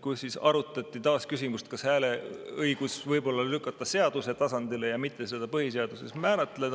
kus arutati taas küsimust, kas hääleõiguse võiks lükata seaduse tasandile ja mitte seda põhiseaduses määratleda.